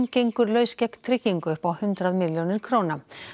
gengur laus gegn tryggingu upp á hundrað milljónir króna